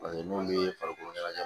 n'olu ye farikolo ɲɛnajɛ